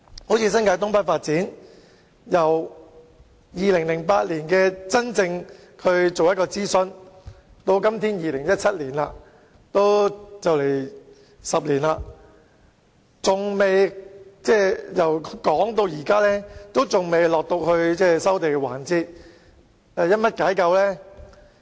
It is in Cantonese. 正如新界東北發展，由2008年進行諮詢至現在2017年，已差不多10年，但仍未到達收地環節。